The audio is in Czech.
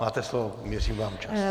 Máte slovo, měřím vám čas.